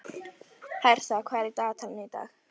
Hertha, hvað er í dagatalinu í dag?